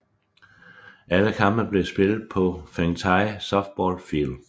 Alle kampe bliver spillet på Fengtai Softball Field